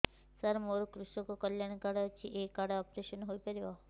ସାର ମୋର କୃଷକ କଲ୍ୟାଣ କାର୍ଡ ଅଛି ଏହି କାର୍ଡ ରେ ଅପେରସନ ହେଇପାରିବ